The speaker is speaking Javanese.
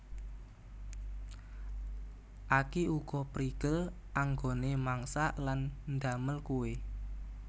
Aki uga prigel anggoné Mangsak lan ndamel kuwè